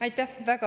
Aitäh!